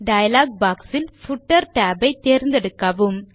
dialogue boxஇல் footer tab ஐ தேர்ந்தெடுக்கவும்